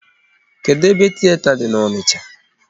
Kedụ ebe tiyeta dị n'Onicha?